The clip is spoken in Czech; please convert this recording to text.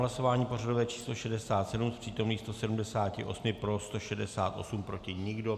Hlasování pořadové číslo 67, z přítomných 178 pro 168, proti nikdo.